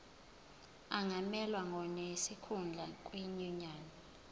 angamelwa ngonesikhundla kwinyunyane